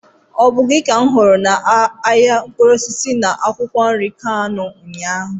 Ọ bụ gị ka m hụrụ na ahịa mkpụrụ osisi na akwụkwọ nri Kano ụnyaahụ?